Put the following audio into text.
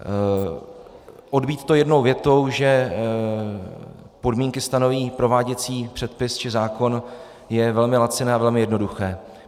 Odbýt to jednou větou, že podmínky stanoví prováděcí předpis či zákon, je velmi laciné a velmi jednoduché.